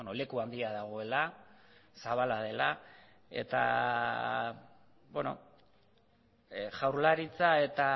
leku handia dagoela zabala dela eta jaurlaritza eta